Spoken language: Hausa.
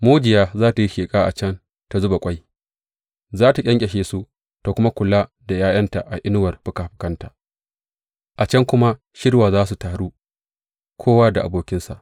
Mujiya za tă yi sheƙa a can ta zuba ƙwai; za tă ƙyanƙyashe su, ta kuma kula da ’ya’yanta a inuwar fikafikanta; a can kuma shirwa za su taru, kowa da abokinsa.